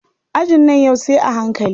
Ajin nan yau sai a hankali.